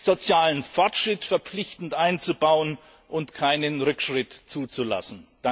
sozialen Fortschritt verpflichtend einzubauen und keinen Rückschritt zuzulassen.